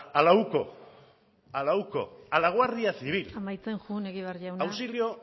a la uco a la guardia civil amaitzen joan egibar jauna auxilio